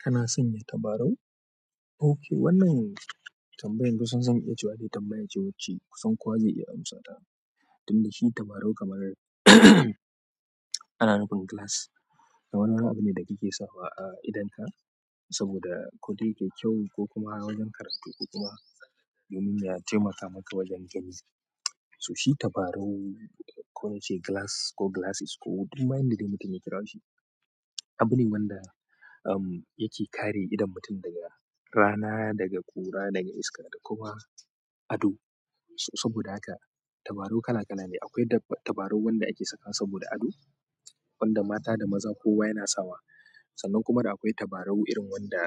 Kana sanya tabarau? Oke wannan tambayan kusan zan iya cewa ne tambaya ce wacce kusan kowa zai iya amsata. Tun da shi tabarau kamar ana nufin glass. Wani ɗan abu ne da kike sawa a idonka saboda ko dai kai kyau ko kuma wajen karatu ko kuma domin ya taimaka maka wajen gani. So shi tabarau ko yace glass ko glasses ko duk ma yan da dai mutum ya kira shi. Abu ne wanda em yake kare idon mutum daga rana, daga ƙura, daga iska da kuma ado. So saboda haka tabarau kala kala ne. Akwai tabarau wanda ake saka saboda ado, wanda mata da maza kowa yana sawa. Sannan kuma da akwai tabarau irin wanda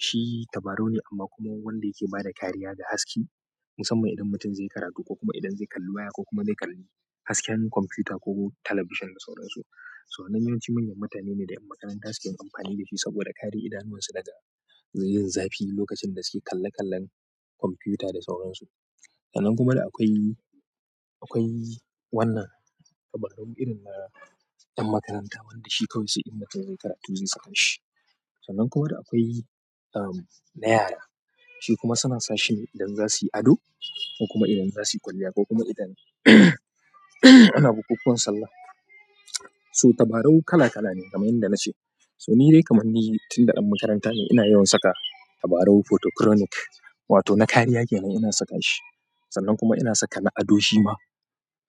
shi tabarau ne amma kuma wanda yake bada kariya da haske. Musamman idan mutum zai karatu ko kuma idan zai kalli waya ko kuma zai kalli hasken kwamfuta ko talabishan da sauran su. So wannan yawan ciwon mutanene da ƴan makaranta suke amfani da shi saboda kare idanuwansu daga yin zafi lokacin da suke kalle kallen kwafiyuta da sauran su sannan kuma da akwai, akwai wannan tabarau irin na ƴan makaranta wanda shi kawai sai in mutum zai yi karatu zai saka shi. Sannan kuma da akwai em na yara, shi kuma suna sa shi idan za suyi ado ko kuma idan za suyi kwalliya ko kuma idan ana bukukuwan sallah. So tabarau kala kala ne kamar yadda nace so ni dai kaman ni tun ɗan makaranta ne ina yawan saka tabarau photocronic wato na kariya kenan ina saka shi. Sannan kuma ina saka na ado shi ma.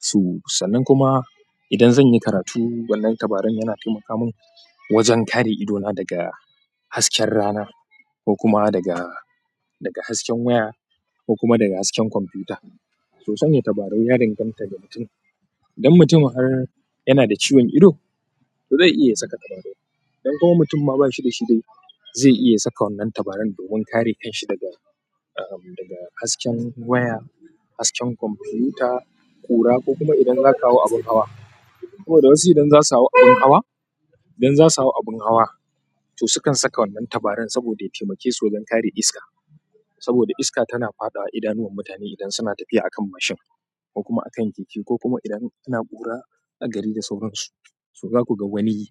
So sannan kuma idan zanyi karatu wannan tabarau yana taimaka min wajen kare idona daga hasken rana ko kuma daga, daga hasken waya ko kuma daga hasken kwamfuta. So sanya tabarau ya danganta da mutum. Idan mutum har yana da ciwon ido, to zai iya saka tabarau. Idan kuma mutum ma bashi da shi dai zai iya saka wannan tabaran domin kare kanshi daga em daga hasken waya, hasken kwamfuta, ƙura ko kuma idan zaka hau abun hawa. Saboda wasu idan za su hau abun hawa, idan za su hau abun hawa to sukan saka wannan tabaran saboda ya taimake su wajen kare iska. Saboda iska tana faɗawa idanuwan mutane idan suna tafiya a kan mashin ko kuma a kan keke ko kuma idan ana bura a gari da sauran su. So zaku ga wani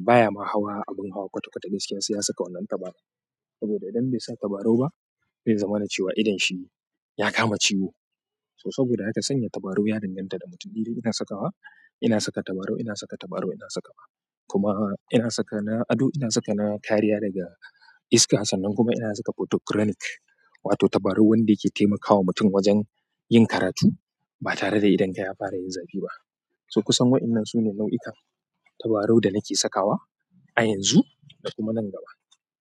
baya ma hawa abun hawa kwata kwata gaskiya sai ya saka wannan tabaran. Saboda idan bai sa tabarau ba zai zama na cewa idon shi ya kama ciwo. So saboda haka sanya tabarau ya danganta da mutum. Ni dai ina saka wa, ina saka tabarau, ina saka tabarau ina saka wa. Kuma ina saka na ado, ina saka na kariya daga iska sannan kuma ina saka photocronic wato tabarau wanda yake taimakawa mutum wajen yin karatu ba tare da idonka ya fara yin zafi ba. To kusan waƴannan sune launuka tabarau da nake sakawa a yanzu da kuma nan gaba.